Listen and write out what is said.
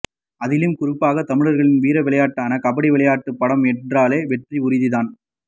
அதிலும் குறிப்பாக தமிழர்களின் வீரவிளையாட்டான கபடி விளையாட்டு படம் என்றாலே வெற்றி உறுதி தான்